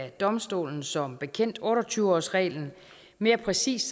i domstolen som bekendt otte og tyve årsreglen mere præcist